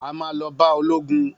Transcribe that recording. A ma lọ bá ológun